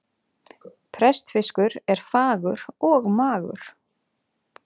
Prestfiskur er fagur og magur.